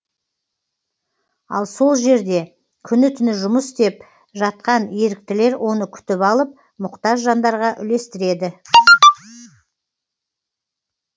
ал сол жерде күні түні жұмыс істеп жатқан еріктілер оны күтіп алып мұқтаж жандарға үлестіреді